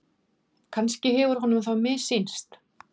Kannski hefur honum þá missýnst.